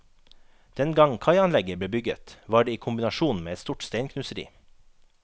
Dengang kaianlegget ble bygget, var det i kombinasjon med et stort steinknuseri.